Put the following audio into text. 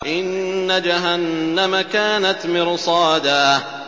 إِنَّ جَهَنَّمَ كَانَتْ مِرْصَادًا